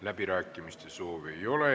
Läbirääkimiste soovi ei ole.